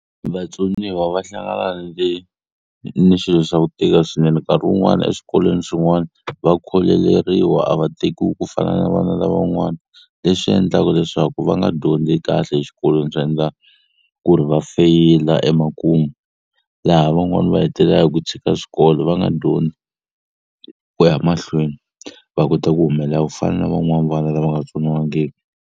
Vatsoniwa va hlangana ni le ni xilo xa ku tika swinene nkarhi wun'wani eswikolweni swin'wani va kholeleriwa a va tekiwi ku fana na vana lavan'wana leswi endlaka leswaku va nga dyondzi kahle exikolweni swi endla ku ri va feyila emakumu laha van'wani va hetelela hi ku tshika xikolo va nga dyondzi ku ya mahlweni va kota ku humelela ku fana na van'wani vana lava nga tsoniwangiki.